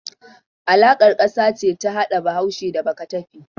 Alaƙar ƙasa ce ta hada Bahaushe da Bakatafe.